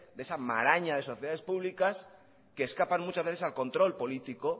esa maraña de sociedades públicas que escapan muchas veces al control político